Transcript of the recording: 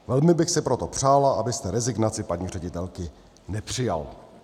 Velmi bych si proto přála, abyste rezignaci paní ředitelky nepřijal."